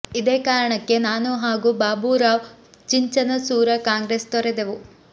ಇದೇ ಕಾರಣಕ್ಕೆ ನಾನು ಹಾಗೂ ಬಾಬು ರಾವ್ ಚಿಂಚನ ಸೂರ ಕಾಂಗ್ರೆಸ್ ತೊರೆದೆವು